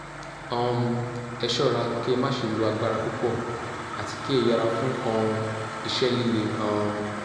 um ẹ ṣọ́ra kí ẹ má ṣe lo agbára púpọ̀ àti kí ẹ yẹra fún um iṣẹ́ líle um